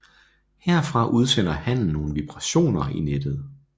Herfra udsender hannen nogle vibrationer i nettet